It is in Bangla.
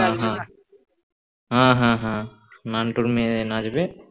হ্যাঁ হ্যাঁ হ্যাঁ হ্যাঁ নান্টুর মেয়ে নাচবে